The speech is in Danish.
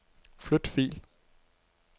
Flyt fil.